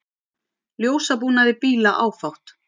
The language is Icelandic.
Ljósabúnaði bíla áfátt